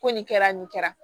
Ko nin kɛra nin kɛra